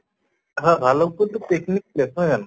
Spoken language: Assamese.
হয় ভালুক্পুং তো picnic place নহয় জানো?